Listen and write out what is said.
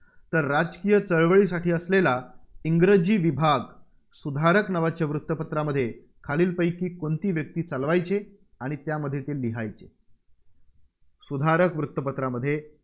तर राजकीय चळवळीसाठी असलेला इंग्रजी विभाग सुधारक नावाच्या वृत्तपत्रामध्ये खालीलपैकी कोणती व्यक्ती चालवायचे? आणि त्यामध्ये ते लिहायचे? सुधारक वृत्तपत्रामध्ये